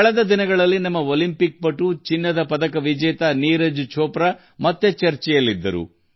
ಇತ್ತೀಚೆಗೆ ನಮ್ಮ ಒಲಿಂಪಿಕ್ ಚಿನ್ನದ ಪದಕ ವಿಜೇತ ನೀರಜ್ ಚೋಪ್ರಾ ಮತ್ತೆ ಮುಖ್ಯಾಂಶಗಳಲ್ಲಿ ಕಾಣಿಸಿಕೊಂಡರು